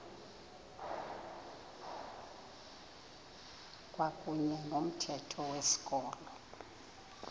kwakuyne nomthetho wezikolo